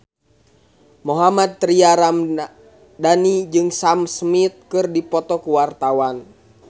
Mohammad Tria Ramadhani jeung Sam Smith keur dipoto ku wartawan